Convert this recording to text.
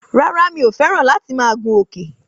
Rárá mi o fẹ́ràn láti máa gun Òkè